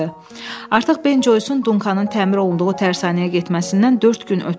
Artıq Ben Joyson Dunkanın təmir olunduğu tərsanəyə getməsindən dörd gün ötürdü.